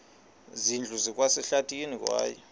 zindlu zikwasehlathini kwaye